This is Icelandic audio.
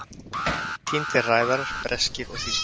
Týndir ræðarar breskir og þýskir